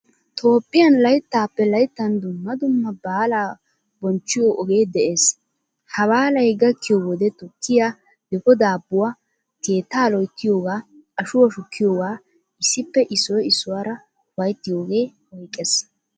Toophphiyaan layttaappe layttan dumma dumma baalaa bonchchiyo oge de'ees. Ha baalaay gakkiyo wode tukkiyaa, difo daabuwaa keettaa loyttiyoga ashuwaa shukkiyoga issippe issoy issuwaara ufayttiyoga oyqqees.